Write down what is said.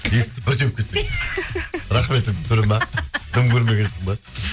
есікті бір теуіп кетсең рахметіңнің түрі ме дым көрмегенсің бе